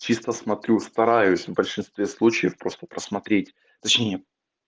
чисто смотрю стараюсь в большинстве случаев просто просмотреть точнее